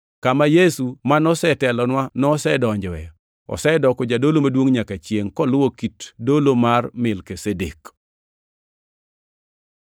kama Yesu ma nosetelonwa nosedonjoe. Osedoko jadolo maduongʼ manyaka chiengʼ, koluwo kit dolo mar Melkizedek.